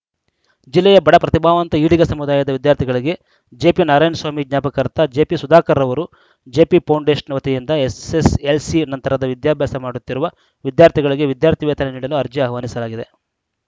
ಜಿಲ್ಲೆಯ ಬಡ ಪ್ರತಿಭಾವಂತ ಈಡಿಗ ಸಮುದಾಯದ ವಿದ್ಯಾರ್ಥಿಗಳಿಗೆ ಜೆಪಿನಾರಾಯಣಸ್ವಾಮಿ ಜ್ಞಾಪಕಾರ್ಥ ಜೆಪಿಸುಧಾಕರ್‌ ಅವರು ಜೆಪಿಫೌಂಡೇಶನ ವತಿಯಿಂದ ಎಸ್‌ಎಸ್‌ಎಲ್‌ಸಿ ನಂತರದ ವಿದ್ಯಾಭ್ಯಾಸ ಮಾಡುತ್ತಿರುವ ವಿದ್ಯಾರ್ಥಿಗಳಿಗೆ ವಿದ್ಯಾರ್ಥಿ ವೇತನ ನೀಡಲು ಅರ್ಜಿ ಅಹ್ವಾನಿಸಲಾಗಿದೆ